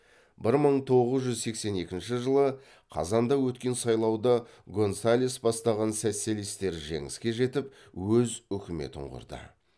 бір мың тоғыз жүз сексен екінші жылы қазанда өткен сайлауда гонсалес бастаған социалистер жеңіске жетіп өз үкіметін құрды